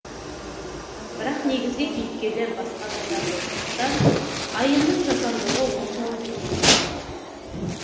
бірақ негізгі кейіпкерлер басқа адамдар болғандықтан айымның жасандылығы оншалық еленбей қалған